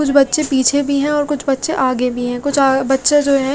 कुछ बच्चे पीछे भी है और कुछ बच्चे आगे भी है कुछ आ बच्चे जो है--